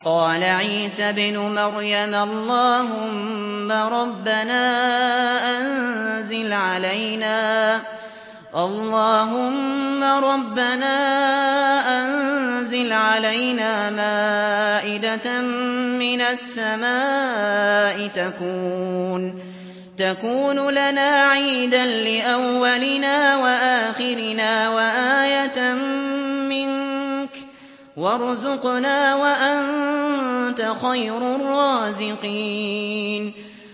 قَالَ عِيسَى ابْنُ مَرْيَمَ اللَّهُمَّ رَبَّنَا أَنزِلْ عَلَيْنَا مَائِدَةً مِّنَ السَّمَاءِ تَكُونُ لَنَا عِيدًا لِّأَوَّلِنَا وَآخِرِنَا وَآيَةً مِّنكَ ۖ وَارْزُقْنَا وَأَنتَ خَيْرُ الرَّازِقِينَ